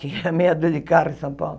Tinha meia dúzia de carro em São Paulo.